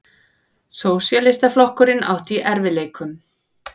Sósíalistaflokkurinn átti í erfiðleikum.